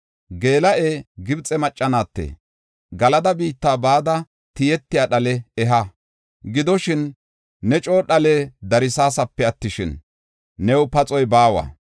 Geela7ee, Gibxe macca naatte, Galada biitta bada tiyetiya dhale eha. Gidoshin, ne coo dhale darsaasape attishin, new paxoy baawa.